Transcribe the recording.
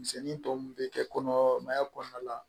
Misɛnnin tɔ min bɛ kɛ kɔnɔmaya kɔnɔna la